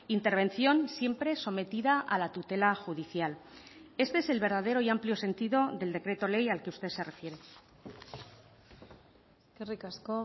intervención siempre sometida a la tutela judicial este es el verdadero y amplio sentido del decreto ley al que usted se refiere eskerrik asko